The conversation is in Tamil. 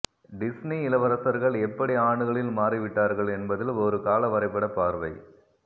டிஸ்னி இளவரசர்கள் எப்படி ஆண்டுகளில் மாறிவிட்டார்கள் என்பதில் ஒரு கால வரைபட பார்வை